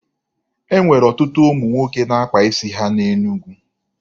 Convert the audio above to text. E nwere ọtụtụ ụmụ nwoke na-akpa isi ha na Enugwu.